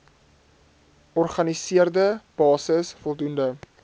organiseerde basis voldoende